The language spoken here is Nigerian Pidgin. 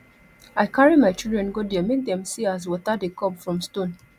i carry my children go there make dem see as water dey come from stone